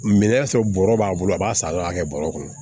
Minɛn y'a sɔrɔ bɔrɔ b'a bolo a b'a san a b'a kɛ bɔrɔ kɔnɔ